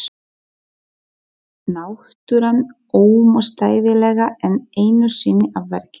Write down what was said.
Náttúran ómótstæðilega enn einu sinni að verki.